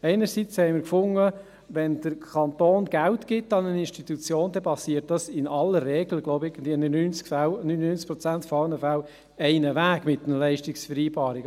Einerseits fanden wir, wenn der Kanton Bern Geld an eine Institution gibt, geschehe dies in aller Regel – ich glaube in 99 Prozent aller Fälle – ohnehin mit einer Leistungsvereinbarung.